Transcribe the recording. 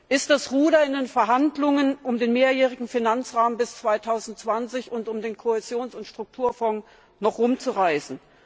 Ist das Ruder in den Verhandlungen um den Mehrjährigen Finanzrahmen bis 2020 und um den Kohäsions und Strukturfonds noch herumzureißen?